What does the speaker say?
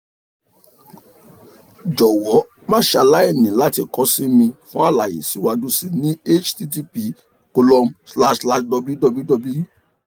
jọwọ ma ṣe alaini lati kọ si mi fun alaye siwaju sii ni http column slash slash www